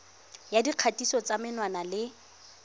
ya dikgatiso tsa menwana le